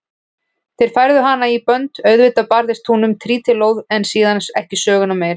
Þeir færðu hana í bönd, auðvitað barðist hún um trítilóð en síðan ekki söguna meir.